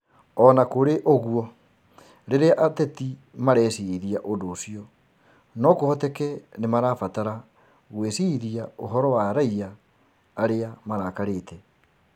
O na kũrĩ ũguo, rĩrĩa ateti mareciiria ũndũ ũcio, no kũhoteke nĩ marabatara gwĩciiria ũhoro wa raiya arĩa marakarĩte